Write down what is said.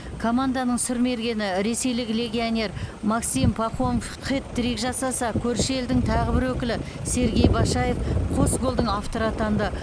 команданың сұрмергені ресейлік легионер максим пахомов хет трик жасаса көрші елдің тағы бір өкілі сергей башаев қос голдың авторы атанды